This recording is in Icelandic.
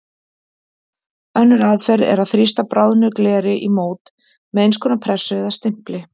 Önnur aðferð er að þrýsta bráðnu gleri í mót með eins konar pressu eða stimpli.